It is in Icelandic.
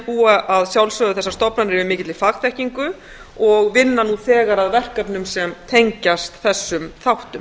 búa að sjálfsögðu yfir mikilli fagþekkingu og vinna nú þegar að verkefnum sem tengjast þessum þáttum